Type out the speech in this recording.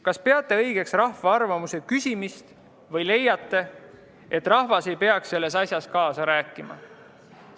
Kas peate õigeks rahva arvamuse küsimist või leiate, et rahvas ei peaks selles asjas kaasa rääkima?